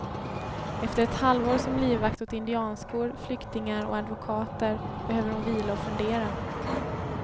Efter ett halvår som livvakt åt indianskor, flyktingar och advokater behöver hon vila och fundera.